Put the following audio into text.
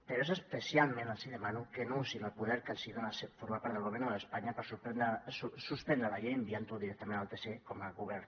però a ells especialment els demano que no usin el poder que els dona formar part del gobierno de españa per suspendre la llei enviant la directament al tc com a govern